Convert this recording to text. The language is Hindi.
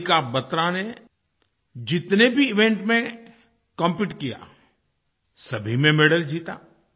मनिका बत्रा ने जितने भी इवेंट भी कॉम्पीट किया सभी में मेडल जीता